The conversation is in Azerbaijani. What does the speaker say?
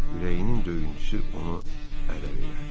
Ürəyinin döyüntüsü onu ələ verər.